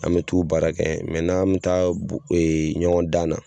An mɛ t'u baara kɛ n'an mɛ taa ɲɔgɔn dan na